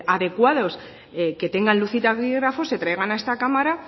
adecuados que tengan luz y taquígrafos se traigan a esta cámara